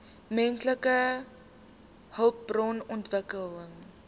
menslike hulpbron ontwikkeling